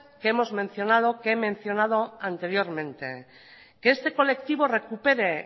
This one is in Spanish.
que hemos mencionados que he mencionado anteriormente que este colectivo recupere